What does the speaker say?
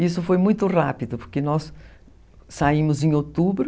Isso foi muito rápido, porque nós saímos em outubro.